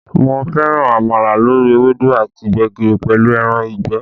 Mo fẹ́ràn àmàlà lórí ewédú àti gbẹ̀gìrì pẹ̀lú ẹran ìgbẹ́